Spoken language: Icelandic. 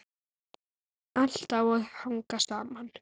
Allt á að hanga saman.